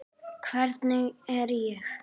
Hvernig er ég?